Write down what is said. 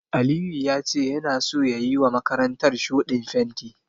Aliyu ya ce yana so ya yiwa makarantar shuɗin fenti.